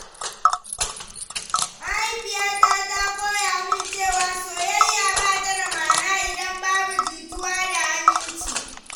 Mahaifiyata ta koya min cewa soyayya ba ta da ma’ana idan babu jituwa da aminci.